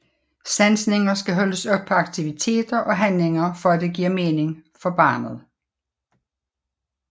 Sansninger skal holdes op på aktiviteter og handlinger for at det giver mening for barnet